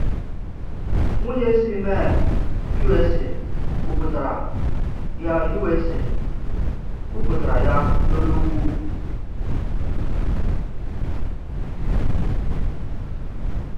Nwunye si Maine, U.S.A. kwupụtara ya U.S.A. kwupụtara ya n’olu ukwu.